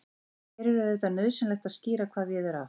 En hér er auðvitað nauðsynlegt að skýra hvað við er átt.